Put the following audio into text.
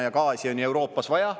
Ja gaasi on Euroopas vaja.